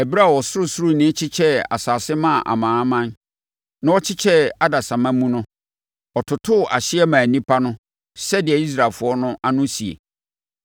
Ɛberɛ a Ɔsorosoroni kyekyɛɛ nsase maa amanaman, na ɔkyekyɛɛ adasamma mu no, ɔtotoo ahyeɛ maa nnipa no sɛdeɛ Israelfoɔ no ano sie.